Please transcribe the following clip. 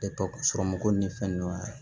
sɔrɔ mɔgɔ ni fɛn dɔ ye